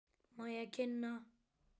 Má ég kynna.